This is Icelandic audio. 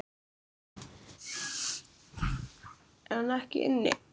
Er hún ekki inni?